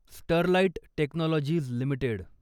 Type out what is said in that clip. Sterlite Technologies limited